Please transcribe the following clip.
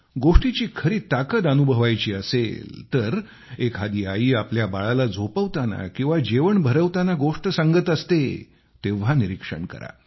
गोष्टीची खरी ताकत अनुभवायची असेल तर एखादी आई आपल्या बाळाला झोपवताना किंवा जेवण भरवताना गोष्ट सांगत असते तेव्हा निरीक्षण करा